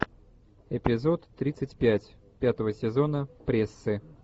эпизод тридцать пять пятого сезона прессы